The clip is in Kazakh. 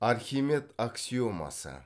архимед аксиомасы